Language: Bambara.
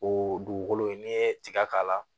O dugukolo in n'i ye tiga k'a la